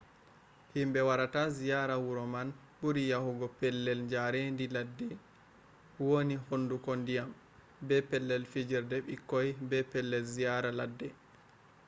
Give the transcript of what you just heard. himɓe warata ziyaara wuro man ɓuri yahugo pellel jaarendi leddi woni hunduko ndiyam be pellel fijerde ɓikkoi be pellel ziyaara ladde